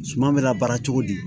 Suman bɛ labaara cogo di